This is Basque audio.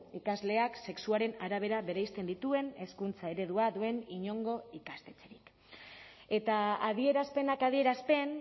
ikasleak sexuaren arabera bereizten dituen hezkuntza eredua duen inongo ikastetxerik eta adierazpenak adierazpen